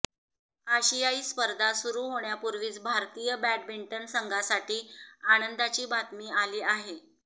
आशियाई स्पर्धा सुरु होण्यापूर्वीच भारतीय बॅंडमिंटन संघासाठी आनंदाची बातमी आली आहे